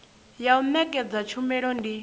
ya u nekedza tshumelo ndi